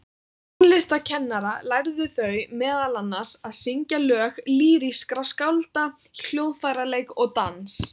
Hjá tónlistarkennara lærðu þau meðal annars að syngja lög lýrískra skálda, hljóðfæraleik og dans.